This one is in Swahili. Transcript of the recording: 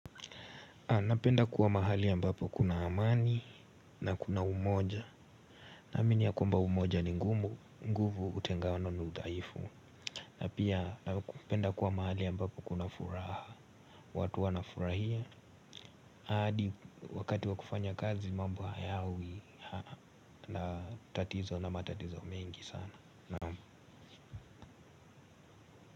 Napenda kuwa mahali ambapo kuna amani na kuna umoja. Naamini ya kwamba umoja ni ngumu nguvu utengano ni udhaifu. Na pia napenda kuwa mahali ambapo kuna furaha. Watu wanafurahia. Hadi wakati wa kufanya kazi mambo hayawi. Na tatizo na matatizo mengi sana naam.